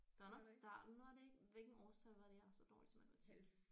Der var nok starten var det ikke hvilken årstal var det jeg er så dårlig til matematik